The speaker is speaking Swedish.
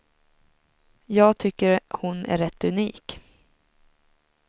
Jag tycker hon är rätt unik.